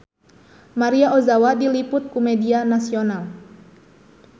Maria Ozawa diliput ku media nasional